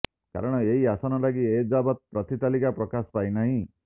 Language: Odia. କାରଣ ଏହି ଆସନ ଲାଗି ଏଯାବତ ପ୍ରାର୍ଥୀ ତାଲିକା ପ୍ରକାଶ ପାଇନାହିଁ